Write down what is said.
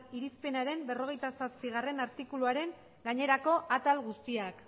irizpenaren berrogeita zazpigarrena artikuluaren gainerako atal guztiak